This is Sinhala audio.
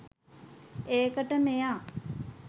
ඒකට මෙයා